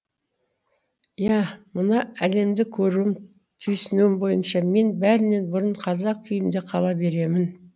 иә мына әлемді көруім түйсінуім бойынша мен бәрінен бұрын қазақ күйімде қала беремін